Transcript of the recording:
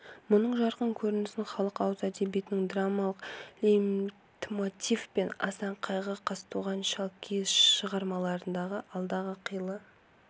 мұның жарқын көрінісін халық ауыз әдебиетіндегі драмалық лейтмотив пен асан қайғы қазтуған шалкиіз шығар-маларындағы алдағы қилы